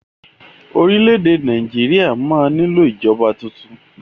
Orílẹ̀ èdè Nàìjíríà máa nílò ìjọba tuntun.